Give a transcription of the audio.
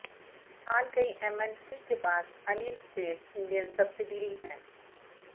फिलहाल कई एमएनसी के पास अनलिस्टेड इंडियन सब्सिडियरी हैं